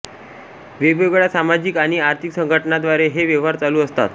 वेगवेगळ्या सामाजिक आणि आर्थिक संघटना द्वारे हे व्यवहार चालू असतात